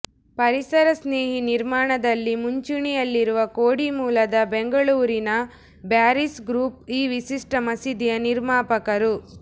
ಪರಿಸರ ಸ್ನೇಹಿ ನಿರ್ಮಾಣದಲ್ಲಿ ಮುಂಚೂಣಿಯಲ್ಲಿರುವ ಕೋಡಿ ಮೂಲದ ಬೆಂಗಳೂರಿನ ಬ್ಯಾರೀಸ್ ಗ್ರೂಪ್ ಈ ವಿಶಿಷ್ಟ ಮಸೀದಿಯ ನಿರ್ಮಾಪಕರು